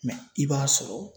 Mɛ i b'a sɔrɔ